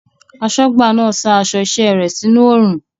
Aṣọ́gbà náà sa aṣọ iṣẹ́ rẹ̀ sínú oòrùn